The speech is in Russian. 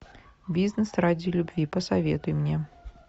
бизнес ради любви посоветуй мне